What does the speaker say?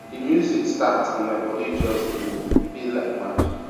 di music start and my body just dey move e be like magic